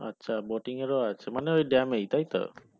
আচ্ছা boating এর ও আছে ওই dam এ তাই তো